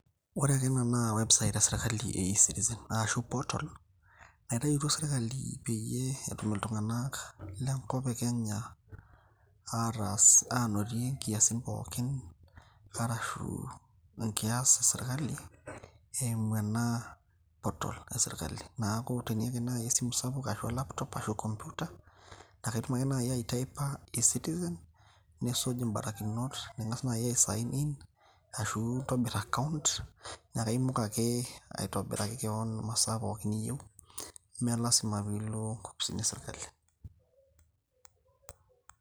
ore taa ena naa website esirkali e ecitizen ashu portal naitayutuo sirkali peyie etum iltung'anak lenkop e kenya ataas anotie inkiasin pookin arashu enkias esirkali eimu ena portal esirkali niaku teniata naaji esimu sapuk ashu o laptop ashu computer naa kaitum ake naaji ae taipa ecitizen nisuj imbarakinot ning'as naaji ae sign in ashu intobirr account nekaimok aitobiraki kewon imasaa pookin niyieu neme lasima piilo inkopisini esirkali.